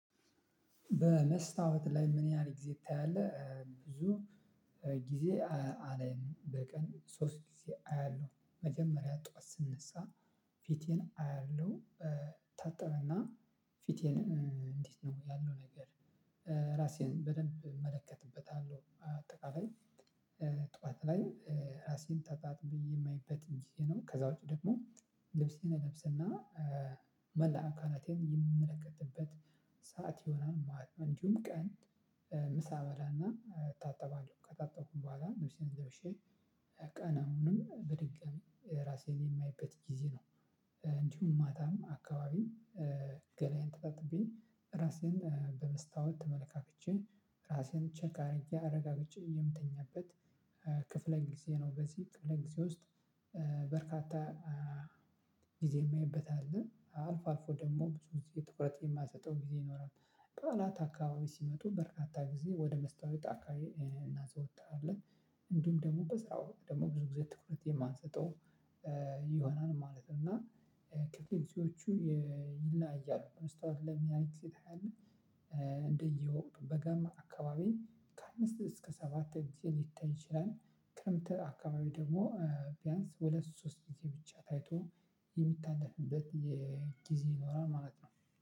በመስታወት ላይ ምን ያህል ጊዜ ታያለህ? ብዙ ጊዜ አለኝ በቀን ሶስት ጊዜ አያለሁ መጀመሪያ ጠዋት ስነሳ ፊቴን አያለሁ። እታጠበና ፊቴን እንዴት ነው ያለው ነገር ራሴን በደንብ እመለከትበታለሁ አጠቃላይ ጠዋት ላይ ራሴን ተታጥቤ የማይበት ጊዜ ነው። ከዛ ውጪ ደግሞ ልብሴን እለብስና መላ አካላቴን የምመለከትበት ሰዓት ይሆናል ማለት ነው እንዲሁም ቀን ምሳ በላና እታጠባለሁ። ከታጠቅኩኝ በኋላ ልብሴን ለብሼ ቀን አሁንም በድጋሚ ራሴን የማይበት ጊዜ ነው። እንዲሁም ማታም አካባቢም ገላዬን ተጣጥቤ ራሴን በመስታወት ተመልካክቼ ራሴን ቼክ አድርጌ አረጋግጬ የምተኛበት ክፍለ ጊዜ ነው። በዚህ ክፍለ ጊዜ ውስጥ በርካታ ጊዜ የማይበት አለ። አልፎ አልፎ ደግሞ ብዙ ትኩረት የማሰጠው ጊዜ ይኖራል። በዓላት አካባቢ ሲመጡ በርካታ ጊዜ ወደ መስታወት አካባቢ እናዘወታለን። እንዲሁም ደግሞ በስራ ወቅት ደግሞ ብዙ ጊዜ ትኩረት የማንሰጠው ይሆናል ማለት ነው። እና ክፍለ ጊዜዎቹ ይላያሉ። መስታወት ለማየት እንደየወቅቱ በጋም አካባቢ ከአምስት እስከ ሰባት ጊዜ ሊታይ ይችላል። ክረምት አካባቢ ደግሞ ቢያንስ ሁለት ሶስት ጊዜ ብቻ ታይቶ የሚታለፍበት ጊዜ ይኖራል ማለት ነው።